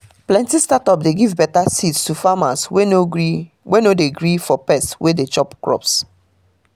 plenty startup dey give better seeds to farmers wey no dey gree for pest wey dey chop crops